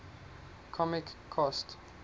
comic cost